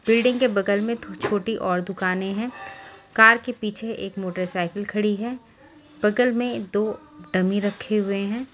Building के बगल में छोटी और दुकानें हैं कार के पीछे एक मोटरसाइकिल खड़ी है बगल में दो डमी रखे हुए हैं।